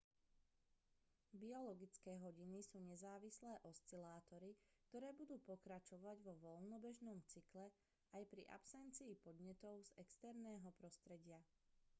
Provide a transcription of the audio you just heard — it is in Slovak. biologické hodiny sú nezávislé oscilátory ktoré budú pokračovať vo voľnobežnom cykle aj pri absencii podnetov z exerného prostredia